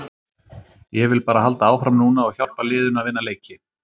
Ég vil bara halda áfram núna og hjálpa liðinu að vinna leiki.